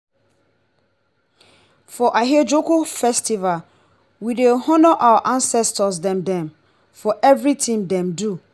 for ahiajoku festival we dey honour our ancestor dem dem for everytin dem do.